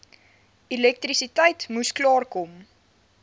elektrisiteit moes klaarkom